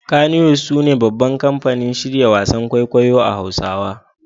Kannywood sune babban kamfanin shirya wasan kwaikwayo a Hausawa